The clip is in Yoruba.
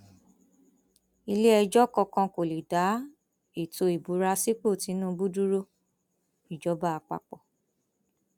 iléẹjọ kankan kò lè dá ètò ìbúra sípò tìṣubú dúróìjọba àpapọ